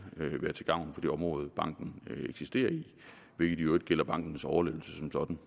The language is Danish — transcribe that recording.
være til gavn for det område banken eksisterer i hvilket i øvrigt gælder bankens overlevelse som sådan